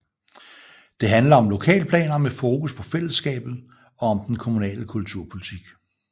Det handler om lokalplaner med fokus på fællesskabet og om den kommunale kulturpolitik